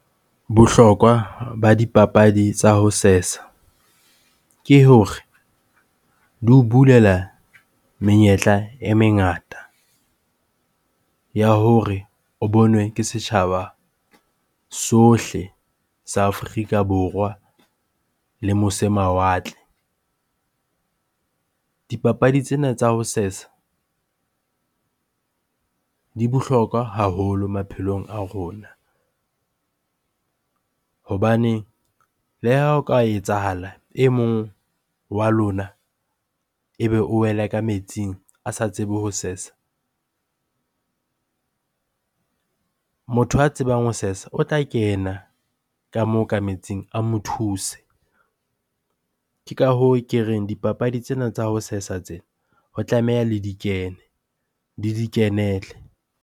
Bohlokwa ba dipapadi tsa ho sesa ke, hore di o bulela menyetla e mengata ya hore o bonwe ke setjhaba sohle sa Afrika Borwa le mose mawatle. Dipapadi tsena tsa ho sesa di bohlokwa haholo maphelong a rona. Hobaneng le ha o ka etsahala e mong wa lona ebe o wele ka metsing, a sa tsebe ho sesa motho a tsebang ho sesa o tla kena ka moo ka metsing a mo thuse. Ke ka hoo ke reng dipapadi tsena tsa ho sesa tsena ho tlameha le di kenele.